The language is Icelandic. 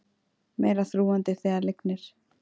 Meira þrúgandi þegar lygnir